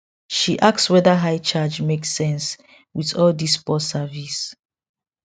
she ask whether high charge make sense with all this poor service